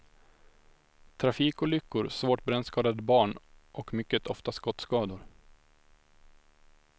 Trafikolyckor, svårt brännskadade barn och mycket ofta skottskador.